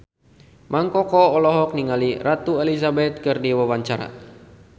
Mang Koko olohok ningali Ratu Elizabeth keur diwawancara